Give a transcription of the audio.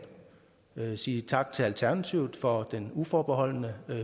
jeg vil sige tak til alternativet for den uforbeholdne